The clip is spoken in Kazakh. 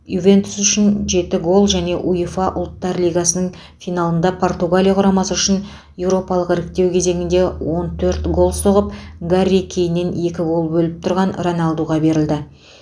ювентус үшін жеті гол және уефа ұлттар лигасының финалында португалия құрамасы үшін еуропалық іріктеу кезеңінде он төрт гол соғып гарри кейннен екі гол бөліп тұрған роналдуға берілді